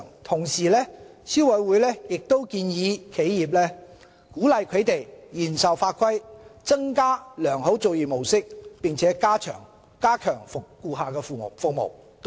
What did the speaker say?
同時，消委會亦給予企業建議，鼓勵商戶嚴守法規、增加良好作業模式並加強顧客服務。